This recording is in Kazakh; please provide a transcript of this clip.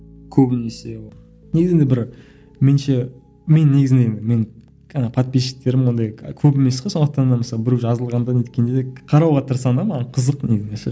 көбінесе ол негізінде бір мен ше мен негізінде мен подписчиктерім ондай көп емес қой сондықтан да мысалы біреу жазылғанда да неткенде де қарауға тырысамын да маған қызық негізінде ше